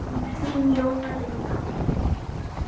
Þín Jóna Linda.